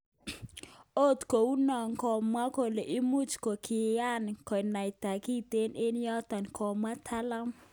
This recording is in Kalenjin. Ot kounon komwaat kole imuch kokiran konaita kiten eng yoton ,kamwa mtaalam.